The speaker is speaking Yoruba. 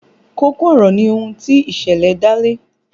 Kókó ọ̀rọ̀ ni ohun tí ìṣẹ̀lẹ̀ dá lé